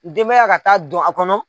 Denmaya ka taa don a kɔnɔ